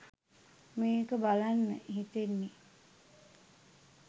මේක බලන්න හිතෙන්නෙ